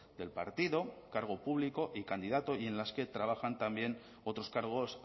del partido cargo público y candidato y en las que trabajan también otros cargos